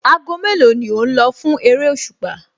Aago mélòó ni o lọ fún eréṣùpá?